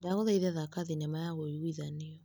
Ndagũthaitha thaka thinema ya ũiguithanio.